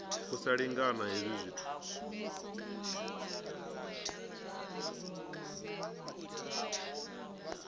u sa lingana hezwi zwithu